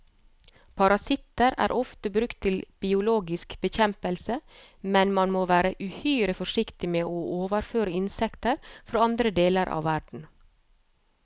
Parasitter er ofte brukt til biologisk bekjempelse, men man må være uhyre forsiktig med å overføre insekter fra andre deler av verden.